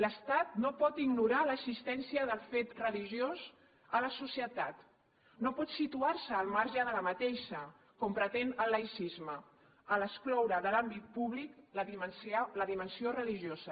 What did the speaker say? l’estat no pot ignorar l’existència del fet religiós a la societat no pot situar se al marge d’aquesta com pretén el laïcisme a l’excloure de l’àmbit públic la dimensió religiosa